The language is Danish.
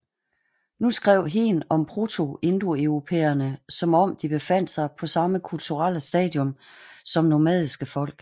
Nu skrev Hehn om protoindoeuropæerna som om de befandt sig på samme kulturelle stadium som nomadiske folk